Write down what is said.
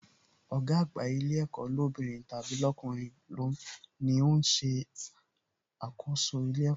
Ọ̀gá àgbà ilé ẹ̀kọ́ lóbìnrin tàbí lọkunrin ni ó ń ṣàkóso ilé ẹ̀kọ́